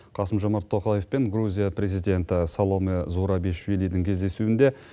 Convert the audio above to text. қасым жомарт тоқаев пен грузия президенті саломе зурабишвилидің кездесуінде